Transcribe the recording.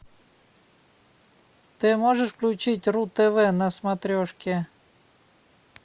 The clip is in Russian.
ты можешь включить ру тв на смотрешке